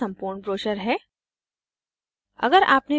यह हमारा सम्पूर्र्ण ब्रोशर है